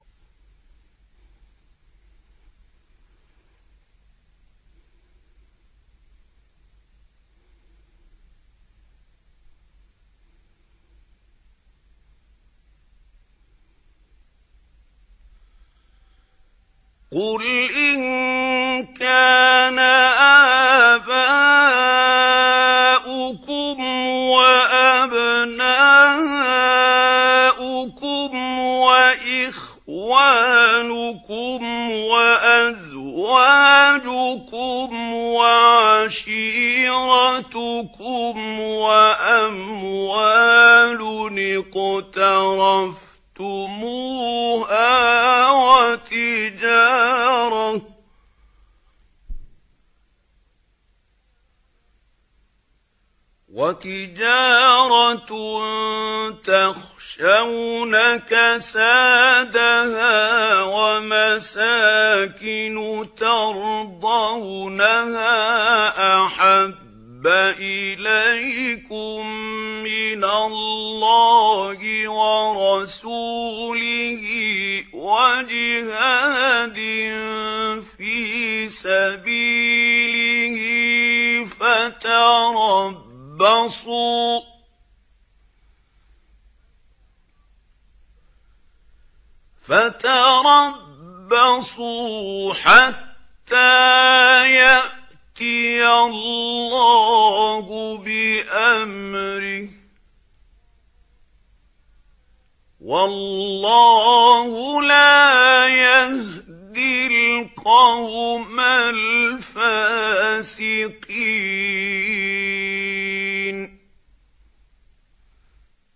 قُلْ إِن كَانَ آبَاؤُكُمْ وَأَبْنَاؤُكُمْ وَإِخْوَانُكُمْ وَأَزْوَاجُكُمْ وَعَشِيرَتُكُمْ وَأَمْوَالٌ اقْتَرَفْتُمُوهَا وَتِجَارَةٌ تَخْشَوْنَ كَسَادَهَا وَمَسَاكِنُ تَرْضَوْنَهَا أَحَبَّ إِلَيْكُم مِّنَ اللَّهِ وَرَسُولِهِ وَجِهَادٍ فِي سَبِيلِهِ فَتَرَبَّصُوا حَتَّىٰ يَأْتِيَ اللَّهُ بِأَمْرِهِ ۗ وَاللَّهُ لَا يَهْدِي الْقَوْمَ الْفَاسِقِينَ